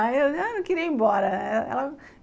Aí eu não queria ir embora.